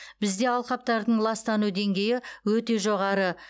бізде алқаптардың ластану деңгейі өте жоғары